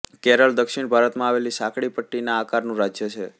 કેરળ દક્ષિણભારતમાં આવેલું સાંકડી પટ્ટીના આકારનું રાજ્ય છે